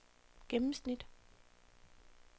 gennemsnit